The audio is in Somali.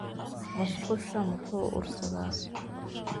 musqusha muxuu ursadaa?